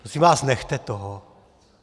Prosím vás, nechte toho.